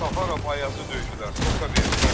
Səfərov Ayazı döydülər, toka verdilər.